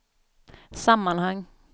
sammanhang